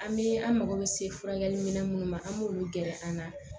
An bɛ an mago bɛ se furakɛli minɛn minnu ma an b'olu gɛrɛ an na